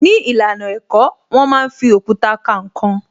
Ní ìlànà ẹ̀kọ́, wón máa ń fi òkúta ka ǹkan